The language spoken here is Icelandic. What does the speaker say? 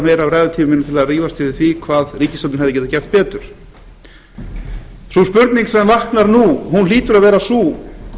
til að rífast yfir því hvað ríkisstjórnin hefði getað gert betur sú spurning sem vaknar nú hlýtur að vera sú